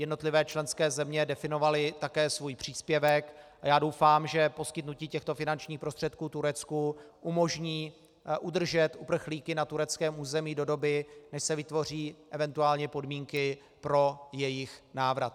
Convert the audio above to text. Jednotlivé členské země definovaly také svůj příspěvek a já doufám, že poskytnutí těchto finančních prostředků Turecku umožní udržet uprchlíky na tureckém území do doby, než se vytvoří eventuální podmínky pro jejich návrat.